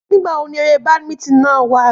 Nígbà wo ni eré badminton náà wà?